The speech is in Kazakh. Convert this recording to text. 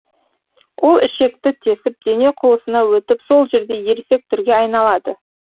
ол ішекті тесіп дене қуысына өтіп сол жерде ересек түрге айналады